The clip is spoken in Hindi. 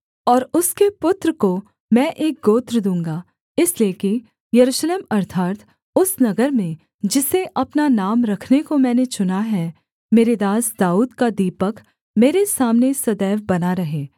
और उसके पुत्र को मैं एक गोत्र दूँगा इसलिए कि यरूशलेम अर्थात् उस नगर में जिसे अपना नाम रखने को मैंने चुना है मेरे दास दाऊद का दीपक मेरे सामने सदैव बना रहे